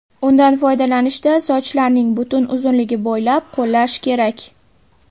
Undan foydalanishda sochlarning butun uzunligi bo‘ylab qo‘llash kerak.